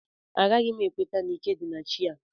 Agaghị m ekweta na ike dị na chi a